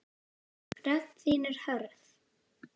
Rödd þín er hörð.